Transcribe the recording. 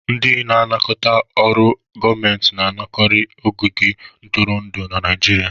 Ndị na-anakọta ọrụ gọọmentị na-anọkarị n'ogige ntụrụndụ na Naijiria.